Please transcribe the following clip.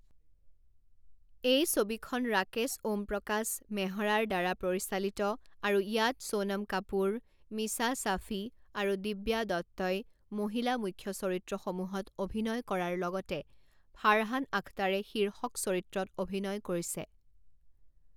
এই ছবিখন ৰাকেশ ওমপ্ৰকাশ মেহৰাৰ দ্বাৰা পৰিচালিত, আৰু ইয়াত সোণম কাপুৰ, মীছা শ্বাফি আৰু দিব্যা দত্তই মহিলা মুখ্য চৰিত্ৰসমূহত অভিনয় কৰাৰ লগতে ফাৰহান আখতাৰে শীৰ্ষক চৰিত্ৰত অভিনয় কৰিছে।